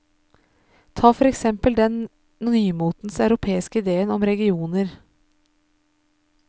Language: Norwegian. Ta for eksempel den nymotens europeiske ideen om regioner.